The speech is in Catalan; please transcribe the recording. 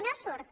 no hi surt